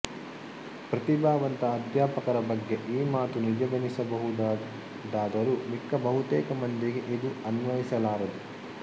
ಪ್ರತಿಭಾವಂತ ಅಧ್ಯಾಪಕರ ಬಗ್ಗೆ ಈ ಮಾತು ನಿಜವೆನಿಸ ಬಹುದಾದರೂ ಮಿಕ್ಕ ಬಹುತೇಕ ಮಂದಿಗೆ ಇದು ಅನ್ವಯಿಸಲಾರದು